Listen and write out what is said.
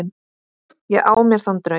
Ég á mér þann draum.